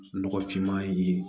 Nɔgɔfinma ye